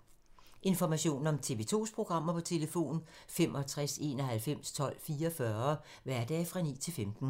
Information om TV 2's programmer: 65 91 12 44, hverdage 9-15.